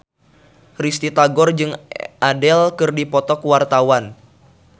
Risty Tagor jeung Adele keur dipoto ku wartawan